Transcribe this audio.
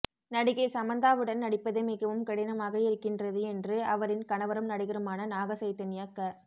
நடிகை சமந்தாவுடன் நடிப்பது மிகவும் கடினமாக இருக்கின்றது என்று அவரின் கணவரும் நடிகருமான நாக சைதன்யா க